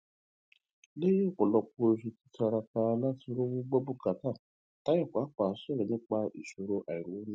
léyìn òpòlọpọ oṣù títíraka láti rówó gbọ bùkátà tayo pàpà sọrọ nípa ìṣòro àìrówóná rẹ